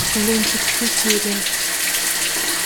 лунтик все серии